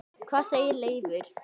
Hvað segir Leifur?